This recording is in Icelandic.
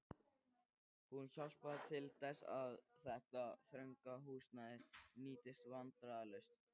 Hún hjálpaði til þess, að þetta þrönga húsnæði nýttist vandræðalaust.